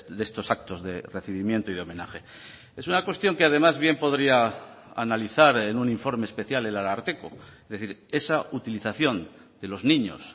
de estos actos de recibimiento y homenaje es una cuestión que además bien podría analizar en un informe especial el ararteko es decir esa utilización de los niños